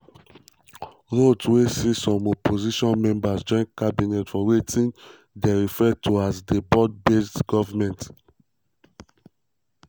ruto wey see some opposition members join cabinet for wetin dey referred as di "broad-based government".